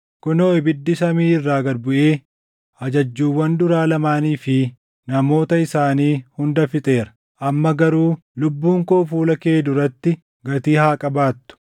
Kunoo, ibiddi samii irraa gad buʼee ajajjuuwwan duraa lamaanii fi namoota isaanii hunda fixeera. Amma garuu lubbuun koo fuula kee duratti gatii haa qabaattu!”